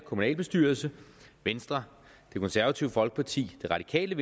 kommunalbestyrelse venstre det konservative folkeparti de radikale